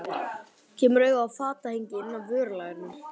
Kemur auga á fatahengi inn af vörulagernum.